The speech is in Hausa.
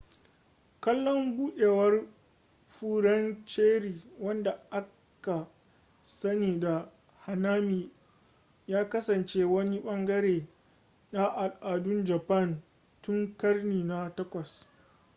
kallon buɗewar furen cherry wanda aka sani da hanami ya kasance wani ɓangare na al'adun japan tun ƙarni na 8